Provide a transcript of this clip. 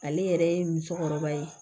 Ale yɛrɛ ye musokɔrɔba ye